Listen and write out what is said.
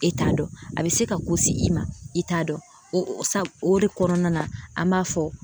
E t'a dɔn a bɛ se ka ko se i ma e t'a dɔn o sa o de kɔnɔna na an b'a fɔ